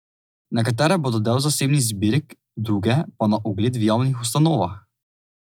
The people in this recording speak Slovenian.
Nekatere bodo del zasebnih zbirk, druge pa na ogled v javnih ustanovah.